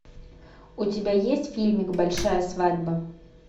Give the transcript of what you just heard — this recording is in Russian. у тебя есть фильмик большая свадьба